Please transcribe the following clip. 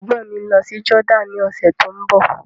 Ègbọ́n mi ń lọ sí Jordan ní ọ̀sẹ̀ tó ń bọ̀.